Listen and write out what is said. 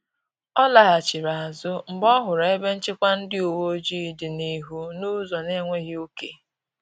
Ọ laghachiri azụ mgbe ọ hụrụ ebe nchịkwa ndị uweojii dị n’ihu n’ụzọ na-enweghị ọke